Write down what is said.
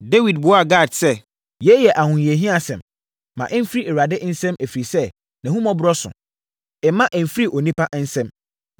Dawid buaa Gad sɛ, “Yei yɛ ahohiahiasɛm. Ma ɛmfiri Awurade nsam, ɛfiri sɛ, nʼahummɔborɔ so. Mma ɛmfiri onipa nsam.”